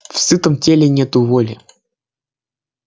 в сытом теле нет воли